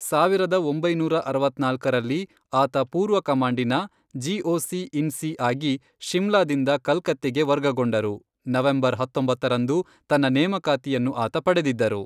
ಸಾವಿರದ ಒಂಬೈನೂರ ಅರವತ್ನಾಲ್ಕರಲ್ಲಿ, ಆತ ಪೂರ್ವ ಕಮಾಂಡಿನ ಜಿಒಸಿ ಇನ್ ಸಿ ಆಗಿ ಶಿಮ್ಲಾದಿಂದ ಕಲ್ಕತ್ತೆಗೆ ವರ್ಗಗೊಂಡರು, ನವೆಂಬರ್ ಹತ್ತೊಂಬತ್ತರಂದು ತನ್ನ ನೇಮಕಾತಿಯನ್ನು ಆತ ಪಡೆದಿದ್ದರು.